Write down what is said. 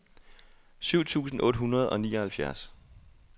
syv tusind otte hundrede og nioghalvfjerds